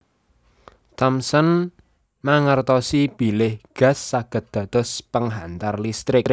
Thomson mangertosi bilih gas saged dados penghantar listrik